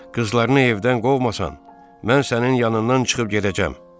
Qızlarını evdən qovmasan, mən sənin yanından çıxıb gedəcəm.